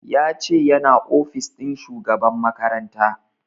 Ya ce yana ofis ɗin shugaban makaranta